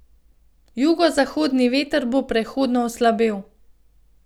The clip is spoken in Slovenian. Jugozahodni veter bo prehodno oslabel.